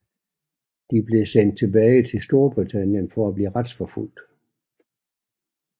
De blev sendt tilbage til Storbritannien for at blive retsforfulgt